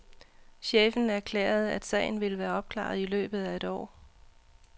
Chefen erklærede, at sagen ville være opklaret i løbet af et år.